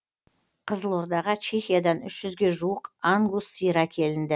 қызылордаға чехиядан үш жүзге жуық ангус сиыр әкелінді